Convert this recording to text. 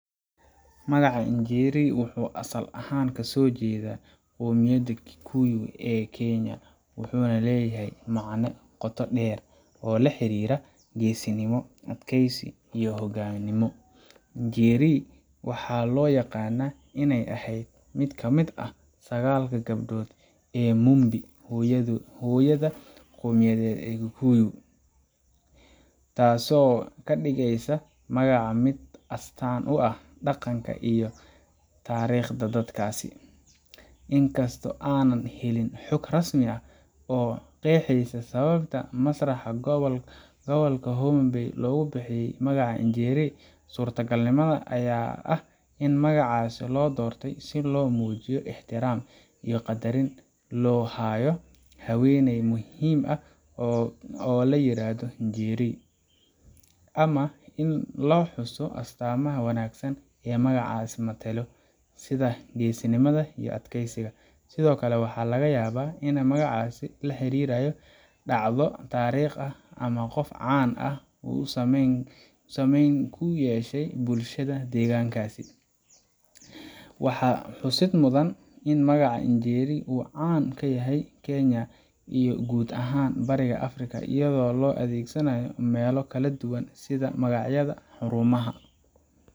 Magaca Njeri wuxuu asal ahaan ka soo jeedaa qowmiyadda Kikuyu ee Kenya, wuxuuna leeyahay macne qoto dheer oo la xiriira geesinimo, adkaysi, iyo hogaamino. Njeri waxaa loo yaqaannaa inay ahayd mid ka mid ah sagaalka gabdhood ee Mumbi, hooyada qowmiyaded ee Kikuyu, taasoo ka dhigaysa magaca mid astaan u ah dhaqanka iyo taariikhda dadkaas. Inkastoo aanan helin xog rasmi ah oo qeexaysa sababta masraxa gobolka Homa Bay loogu bixiyay magaca Njeri, suurtagalnimada ayaa ah in magacaas loo doortay si loo muujiyo ixtiraam iyo qadarin loo hayo haweeney muhiim ah oo la yiraahdo Njeri, ama si loo xuso astaamaha wanaagsan ee magacaasi metelo, sida geesinimada iyo adkaysiga. Sidoo kale, waxaa laga yaabaa in magacaasi la xiriirayso dhacdo taariikhi ah ama qof caan ah oo saameyn ku yeeshay bulshada deegaankaas. Waxaa xusid mudan in magaca Njeri uu caan ka yahay Kenya iyo guud ahaan Bariga Afrika, iyadoo loo adeegsado meelo kala duwan sida magacyada xarumaha.